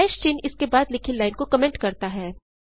चिन्ह इसके बाद लिखी लाइन को कमेंट करता है